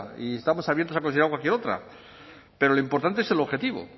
y estamos abiertos a considerar cualquier otra pero lo importante es el objetivo